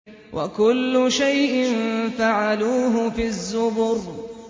وَكُلُّ شَيْءٍ فَعَلُوهُ فِي الزُّبُرِ